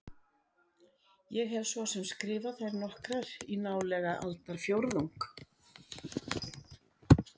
Ég hef svo sem skrifað þær nokkrar í nálega aldarfjórðung.